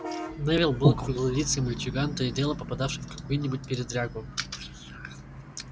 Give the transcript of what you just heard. невилл был круглолицый мальчуган то и дело попадавший в какую-нибудь передрягу